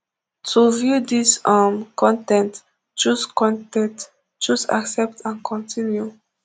to view dis um con ten t choose con ten t choose accept and continue